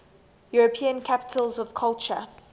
european capitals of culture